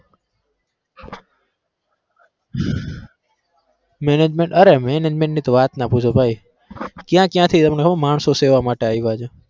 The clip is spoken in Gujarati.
management અરે management ની વાત ના પૂછો ભાઈ ક્યાં ક્યાંથી તમને હું માણસો સેવા માટે આયવા છે.